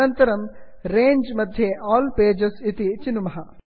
अनन्तरं रङ्गे रेञ्ज् मध्ये अल् पेजेस् आल् पेजस् इति चिनुमः